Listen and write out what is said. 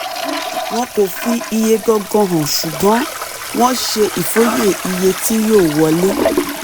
wọn kò fi iye gangan hàn ṣùgbọ́n wọ́n ṣe ìfòye iye tí yóò wọlé.